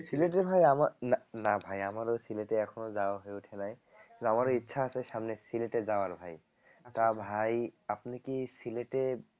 সিলেটে ভাই আমার না ভাই আমারও সিলেটে এখনো যাওয়া হয়ে ওঠে নাই আমারও ইচ্ছা আছে সামনে সিলেটে যাওয়ার ভাই তা ভাই আপনি কি সিলেটে